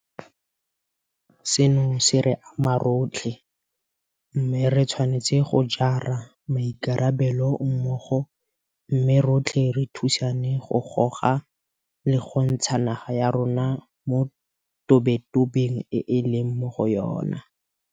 Seno se re ama rotlhe, mme re tshwanetse go jara maikarabelo mmogo mme rotlhe re thusane go goga le go ntsha naga ya rona mo tobetobeng e e leng mo go yona.